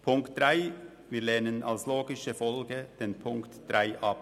Den Punkt 3 lehnen wir als logische Folge ab.